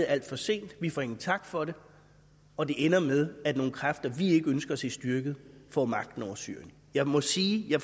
alt for sent vi får ingen tak for det og det ender med at nogle kræfter vi ikke ønsker at se styrket får magten over syrien jeg må sige at jeg